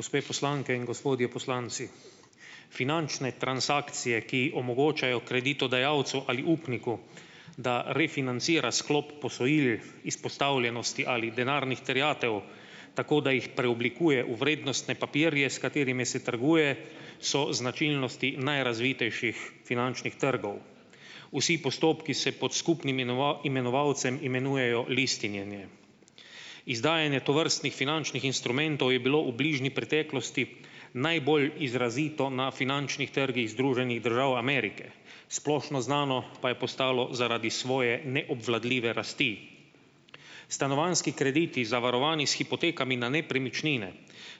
Gospe poslanke in gospodje poslanci. Finančne transakcije, ki omogočajo kreditodajalcu ali upniku, da refinancira sklop posojil izpostavljenosti ali denarnih terjatev, tako da jih preoblikuje v vrednostne papirje, s katerimi se trguje, so značilnosti najrazvitejših finančnih trgov. Vsi postopki se pod skupnim imenovalcem imenujejo listinjenje. Izdajanje tovrstnih finančnih instrumentov je bilo v bližnji preteklosti najbolj izrazito na finančnih trgih Združenih držav Amerike. Splošno znano pa je postalo zaradi svoje neobvladljive rasti. Stanovanjski krediti zavarovani s hipotekami na nepremičnine